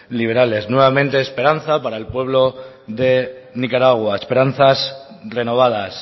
liberales nuevamente esperanza para el pueblo de nicaragua esperanzas renovadas